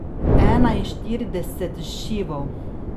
Enainštirideset šivov.